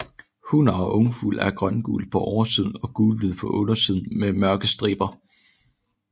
Hunner og ungfugle er grøngule på oversiden og gulhvide på undersiden med mørke striber